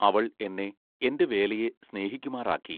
അവൾ എന്നെ എന്റെ വേലയെ സ്നേഹിക്കുമാറാക്കി.